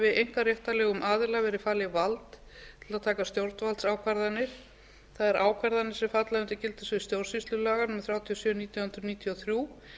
einkaréttarlegum aðila verið falið vald til að taka stjórnvaldsákvarðanir það er ákvarðanir sem falla undir gildissvið stjórnsýslulaga númer þrjátíu og sjö nítján hundruð níutíu og þrjú